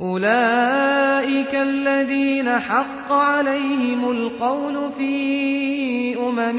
أُولَٰئِكَ الَّذِينَ حَقَّ عَلَيْهِمُ الْقَوْلُ فِي أُمَمٍ